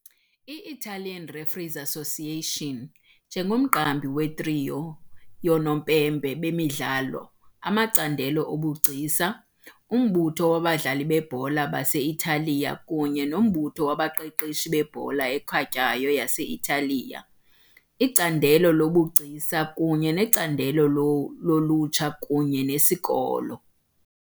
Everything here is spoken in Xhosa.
I-Italian Referees Association, njengomqambi we-trios yoonompempe bemidlalo, amacandelo obugcisa, Umbutho wabadlali bebhola base-Italiya kunye noMbutho wabaqeqeshi bebhola ekhatywayo yase-Italiya, iCandelo loBugcisa kunye neCandelo loLutsha kunye neSikolo.